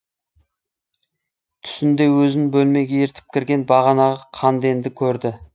түсінде өзін бөлмеге ертіп кірген бағанағы қанденді көрді